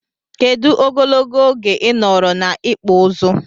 Kedu ogologo oge inọrọ na ikpụ ụzụ?